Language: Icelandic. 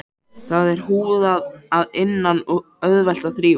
Það er húðað að innan og auðvelt að þrífa.